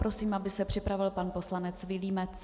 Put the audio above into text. Prosím, aby se připravil pan poslanec Vilímec.